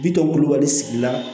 Bitɔn kulubali sigi la